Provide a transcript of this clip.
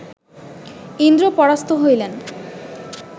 ইন্দ্র পরাস্ত হইলেন